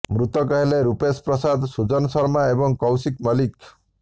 ମୃତକ ହେଲେ ରୂପେଶ ପ୍ରସାଦ ସୁଜନ ଶର୍ମା ଏବଂ କୌଶିକ ମଲ୍ଲିକ